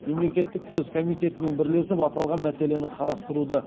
мемлекеттік кіріс комитетімен бірлесіп аталған мәселені қарастыруды